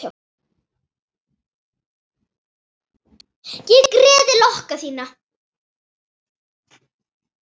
Ég greiði lokka þína.